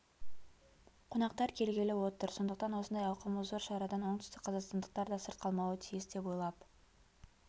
қонақтар келгелі отыр сондықтан осындай ауқымы зор шарадан оңтүстікқазақстандықтар да сырт қалмауы тиіс деп ойлап